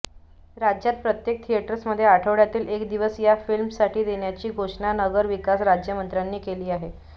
राज्यात प्रत्येक थिएटर्समध्ये आठवडय़ातील एक दिवस या फिल्म्ससाठी देण्याची घोषणा नगरविकास राज्यमंत्र्यांनी केली आहे